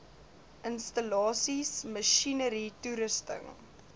installasies masjinerie toerusting